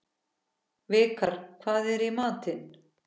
Vikar, hvað er í matinn?